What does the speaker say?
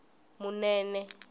munene